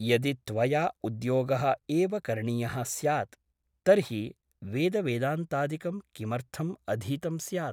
यदि त्वया उद्योगः एव करणीयः स्यात् तर्हि वेदवेदान्तादिकं किमर्थम् अधीतं स्यात् ?